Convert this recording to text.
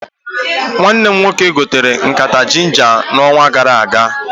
Nwanne m nwoke gotere nkata ginja na onwa gara aga